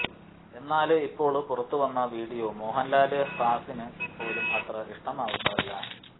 എന്നാല് ഇപ്പോള് പുറത്തുവന്ന വിഡിയോ മോഹന്ലാല് ഫാന്സിന് പോലും അത്ര ഇഷ്ടമാവുന്നതല്ല